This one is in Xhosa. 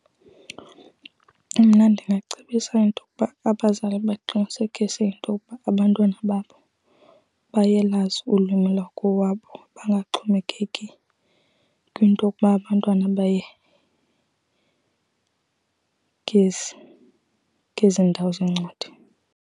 Mna ndingacebisa intokuba abazali baqinisekise intokuba abantwana babo bayalwazi ulwimi lwakowabo bangaxhomekeki kwinto okuba abantwana baye ngezi, ngezi ndawo zeencwadi.